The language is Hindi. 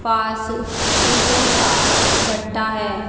पास ईंटों का भट्टा है।